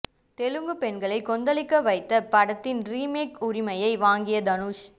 தெலுங்கு பெண்களை கொந்தளிக்க வைத்த படத்தின் ரீமேக் உரிமையை வாங்கிய தனுஷ்